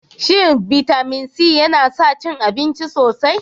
Shin bitamin C yana sa cin abinci sosai?